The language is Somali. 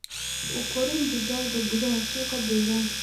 U korin digaaga gudaha suuqa deegaanka.